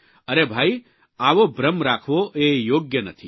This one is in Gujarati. અરે ભાઇ આવો ભ્રમ રાખવો એ યોગ્ય નથી